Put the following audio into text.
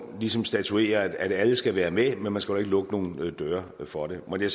ligesom statuere at alle skal være med men man skal heller ikke lukke nogen døre for det måtte